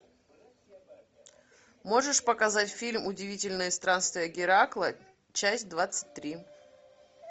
можешь показать фильм удивительные странствия геракла часть двадцать три